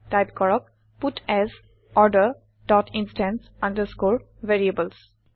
type কৰক পাটছ order dot instance underscore variables